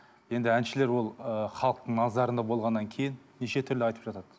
енді әншілер ол ы халықтың назарында болғаннан кейін неше түрлі айтып жатады